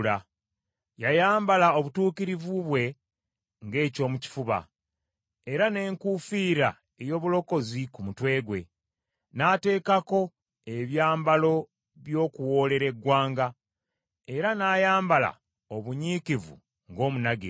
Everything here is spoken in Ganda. Yayambala obutuukirivu bwe ng’eky’omu kifuba, era n’enkuufiira ey’obulokozi ku mutwe gwe; n’ateekako ebyambalo by’okuwoolera eggwanga era n’ayambala obunyiikivu ng’omunagiro.